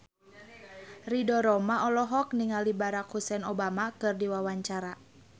Ridho Roma olohok ningali Barack Hussein Obama keur diwawancara